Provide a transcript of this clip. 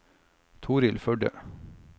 Torhild Førde